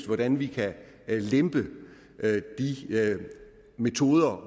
hvordan vi kan lempe de metoder